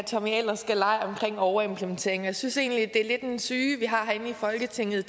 tommy ahlers galej omkring overimplementering jeg synes egentlig det er en syge vi tit har herinde i folketinget